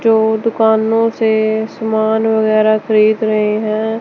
जो दुकानों से सामान वगैरा खरीद रहे हैं।